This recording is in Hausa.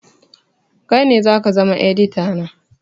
Kai ne zaka zama edita na